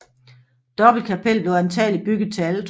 Dobbeltkapellet blev antagelig bygget til altre